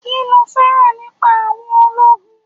Kí lo féràn nípa àwọn ológun?